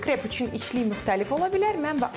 Bizim krep üçün içliyi müxtəlif ola bilər.